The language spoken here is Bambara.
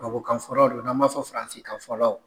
kan fɔlaw do n'an ba fɔ firansikan fɔlaw.